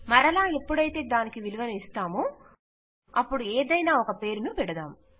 మరలా ఎప్పుడైతే దానికి విలువను ఇస్తామో అప్పుడు ఏదైనా ఒక పేరును పెడదాం